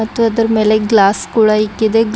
ಮತ್ತು ಅದರ್ ಮೇಲೆ ಗ್ಲಾಸ್ ಕೂಡ ಇಕ್ಕಿದೆ.